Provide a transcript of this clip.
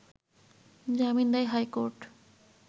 জামিন দেয় হাইকোর্ট